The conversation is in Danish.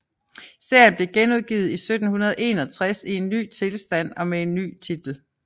Serien blev genudgivet i 1761 i en ny tilstand og med en ny titel